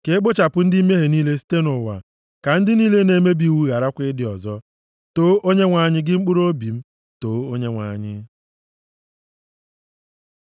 Ka e kpochapụ ndị mmehie niile site nʼụwa. Ka ndị niile na-emebi iwu gharakwa ịdị ọzọ. Too Onyenwe anyị gị mkpụrụobi m! Toonu Onyenwe anyị!